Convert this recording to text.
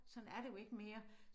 Sådan er det jo ikke mere